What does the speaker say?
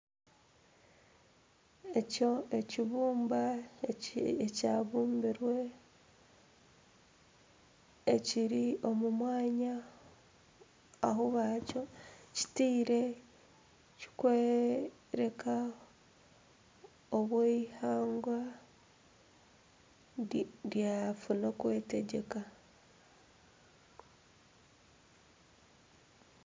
Ekyo ekibumba ekyabumbirwe ekiri omu mwanya aha bakitaire kikworeka obu eihanga ryatunga okwetegyeka.